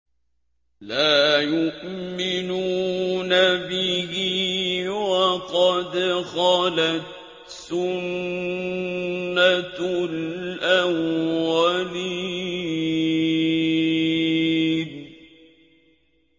لَا يُؤْمِنُونَ بِهِ ۖ وَقَدْ خَلَتْ سُنَّةُ الْأَوَّلِينَ